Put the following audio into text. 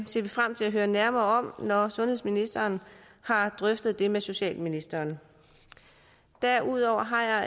ser vi frem til at høre nærmere om når sundhedsministeren har drøftet det med socialministeren derudover har jeg